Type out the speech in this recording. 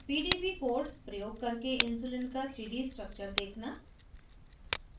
* pdb code प्रयोग करके insulin का 3d structure देखना